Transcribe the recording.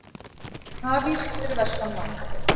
Hafís fyrir vestan land